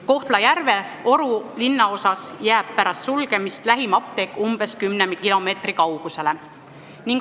Kohtla-Järve Oru linnaosas jääb pärast sulgemist lähim apteek umbes 10 kilomeetri kaugusele.